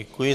Děkuji.